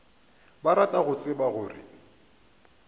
ba rata go tseba gore